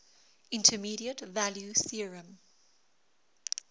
intermediate value theorem